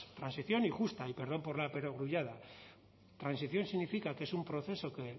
transición y justa y perdón por la perogrullada transición significa que es un proceso que